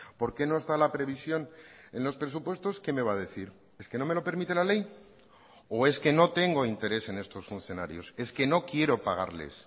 por qué no está la previsión en los presupuestos qué me va a decir es que no me lo permite la ley o es que no tengo interés en estos funcionarios es que no quiero pagarles